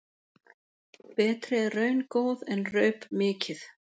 Betri er raun góð en raup mikið.